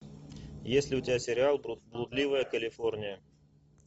есть ли у тебя сериал блудливая калифорния